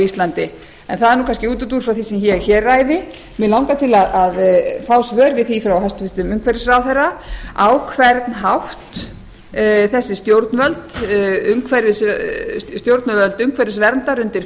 íslandi en það er nú kannski útúrdúr frá því sem ég hér ræði mig langar til að fá svör við því frá hæstvirtur umhverfisráðherra á hvern hátt þessi stjórnvöld umhverfisverndar undir